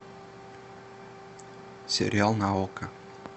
сериал на окко